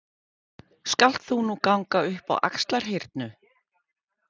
Skalt þú nú ganga upp á Axlarhyrnu.